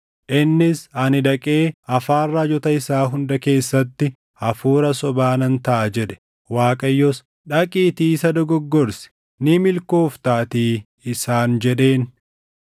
“Innis, ‘Ani dhaqee afaan raajota isaa hunda keessatti hafuura sobaa nan taʼa’ jedhe. “ Waaqayyos, ‘Dhaqiitii isa dogoggorsi; ni milkooftaatii’ isaan jedheen.